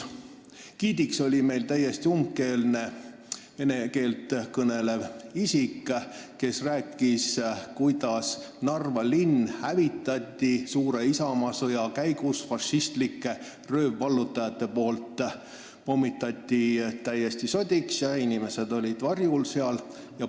Giidiks oli meile täiesti umbkeelne vene keeles kõnelev inimene, kes rääkis, kuidas fašistlikud röövvallutajad pommitasid Narva linna suure isamaasõja ajal täiesti sodiks ja inimesed olid siis seal bastionikäigus varjul.